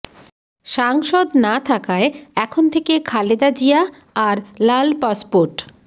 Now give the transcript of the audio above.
সাংসদ না থাকায় এখন থেকে খালেদা জিয়া আর লাল পাসপোর্ট